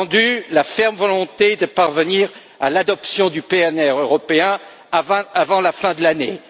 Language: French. J'ai entendu la ferme volonté de parvenir à l'adoption du PNR européen avant la fin de l'année.